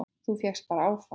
Þú fékkst bara áfall!